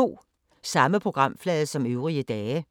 Samme programflade som øvrige dage